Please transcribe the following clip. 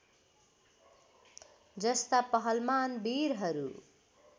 जस्ता पहलमान वीरहरू